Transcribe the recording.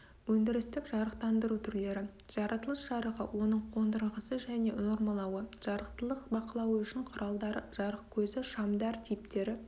өндірістік жарықтандыру түрлері жаратылыс жарығы оның қондырғысы және нормалауы жарықтылық бақылауы үшін құралдары жарықкөзі шамдар типтері